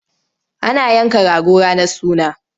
Ana yanka rago ranar suna.